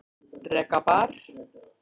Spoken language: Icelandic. Reka bar